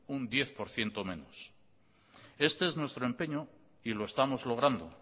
un diez por ciento menos este es nuestro empeño y lo estamos logrando